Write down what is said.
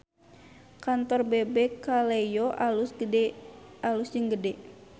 Kantor Bebek Kaleyo alus jeung gede